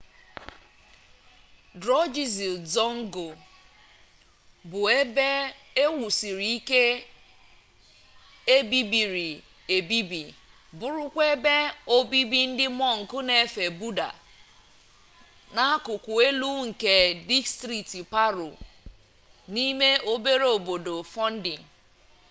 drukgyal dzong bụ ebe ewusiri ike ebibiri ebibi bụrụkwa ebe obibi ndị mọnk n'efe buda n'akụkụ elu nke distrikti paro n'ime obere obodo fondi